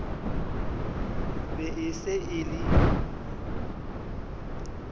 be e se e le